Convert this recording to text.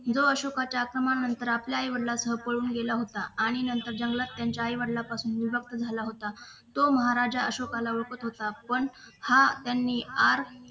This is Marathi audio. जो अशोकाच्या समान अंतर आपल्या आईवडिलांसह पळून गेला होता आणि नंतर त्यांच्या जंगलात त्यांच्या आई वडिलांपासून विभक्त झाला होता तो महाराजा अशोकाला ओळखत होता पण हा आर